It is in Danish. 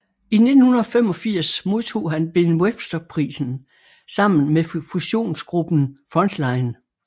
I 1985 modtog han Ben Webster Prisen sammen med fusionsgruppen Frontline